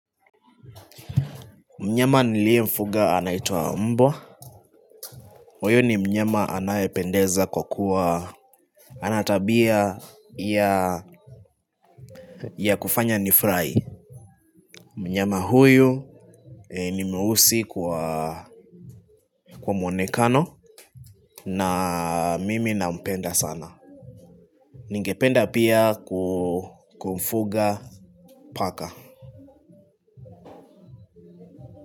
Mnyama niliye mfuga anaitwa mbwa, huyu ni mnyama anayependeza kwa kuwa ana tabia ya kufanya nifurahi Mnyama huyu ni mweusi kwa mwonekano na mimi nampenda sana Ningependa pia kumfuga paka.